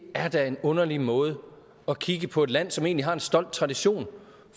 er da en underlig måde at kigge på et land på som egentlig har en stolt tradition